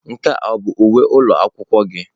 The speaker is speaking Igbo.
Nke a ọ bụ uwe ụlọ akwụkwọ gị?